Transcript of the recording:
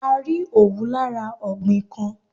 A rí Òwú lati ara ọ̀gbìn kan.